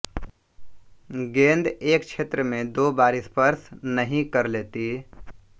गेंद एक क्षेत्र में दो बार स्पर्श नहीं कर लेती